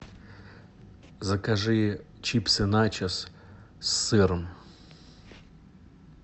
закажи чипсы начос с сыром